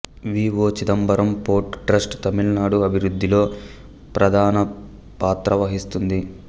వి O Chidambaram port trust Tamil Nadu అభివృద్ధిలో ప్రధాన పాత్రవహిస్తుంది